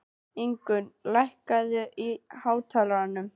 Ingrún, lækkaðu í hátalaranum.